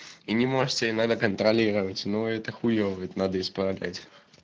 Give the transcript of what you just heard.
и не можете надо контролировать но это хуевое надо исправлять